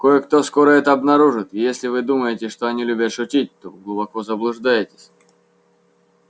кое-кто скоро это обнаружит и если вы думаете что они любят шутить то глубоко заблуждаетесь